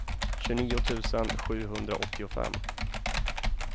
tjugonio tusen sjuhundraåttiofem